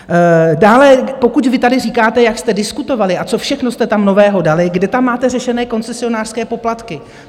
Dále, pokud vy tady říkáte, jak jste diskutovali a co všechno jste tam nového dali, kde tam máte řešené koncesionářské poplatky?